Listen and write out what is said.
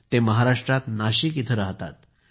हे महाराष्ट्रात नाशिक इथे राहतात